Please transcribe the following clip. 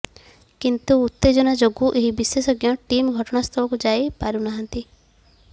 କିନ୍ତୁ ଉତ୍ତେଜନା ଯୋଗୁଁ ଏହି ବିଶେଷଜ୍ଞ ଟିମ୍ ଘଟଣାସ୍ଥଳକୁ ଯାଇ ପାରୁ ନାହାନ୍ତି